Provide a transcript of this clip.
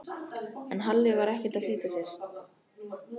En Halli var ekkert að flýta sér.